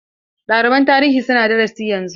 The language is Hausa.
Ɗaliban tarihi suna darasi yanzu.